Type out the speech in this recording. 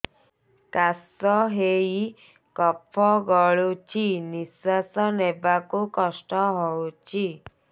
କାଶ ହେଇ କଫ ଗଳୁଛି ନିଶ୍ୱାସ ନେବାକୁ କଷ୍ଟ ହଉଛି